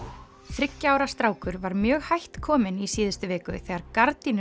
þriggja ára strákur var mjög hætt kominn í síðustu viku þegar